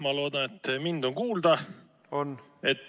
Ma loodan, et mind on kuulda.